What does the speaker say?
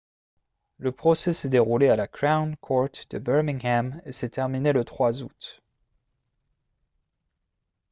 le procès s'est déroulé à la crown court de birmingham et s'est terminé le 3 août